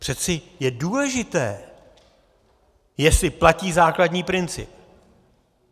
Přece je důležité, jestli platí základní princip.